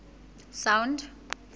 sound